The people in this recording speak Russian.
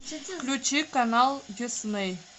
включи канал дисней